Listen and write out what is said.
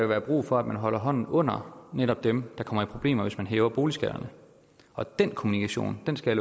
være brug for at man holder hånden under netop dem der kommer i problemer hvis man hæver boligskatterne og den kombination skal